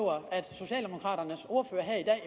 socialdemokraternes ordfører her